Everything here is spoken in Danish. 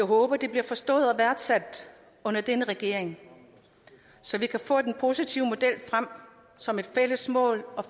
håber det bliver forstået og værdsat under denne regering så vi kan få den positive model frem som et fælles mål og